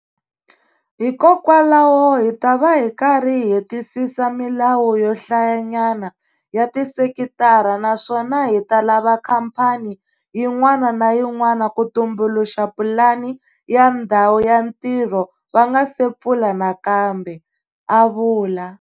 Hikokwalaho hi ta va hi karhi hi hetisisa milawu yo hlayanyana ya tisekitara naswona hi ta lava khamphani yin'wana na yin'wana ku tumbuluxa pulani ya ndhawu ya ntirho va nga si pfula nakambe, a vula.